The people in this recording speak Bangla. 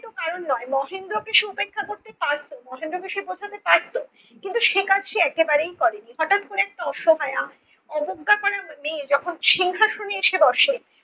ছিল কারণ নয়। মহেন্দ্রকে সে উপেক্ষা করতে পারত মহেন্দ্রকে সে বোঝাতে পারত, কিন্তু সে কাজ সে একেবারেই করে নি, হঠাৎ করে একটা অসহায়া অবজ্ঞা করার মন নিয়ে যখন সিংহাসনে এসে বসে